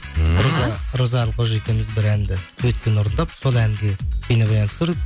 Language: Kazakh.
роза әлқожа екеуіміз бір әнді дуэтпен орындап сол әнге бейнебаян түсіріп